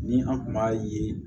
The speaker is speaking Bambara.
Ni an kun b'a ye